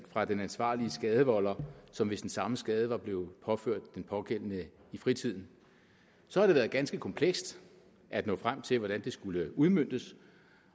fra den ansvarlige skadevolder som hvis den samme skade var blevet påført den pågældende i fritiden så har det været ganske komplekst at nå frem til hvordan det skulle udmøntes